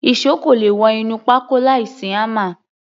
Ìṣó kò le wọ inú pákó láìsí hámà.